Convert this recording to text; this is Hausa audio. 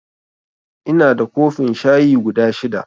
Inada kofin shayi guda shida